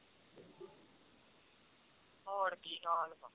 ਹੋਰ ਕੀ ਦਸ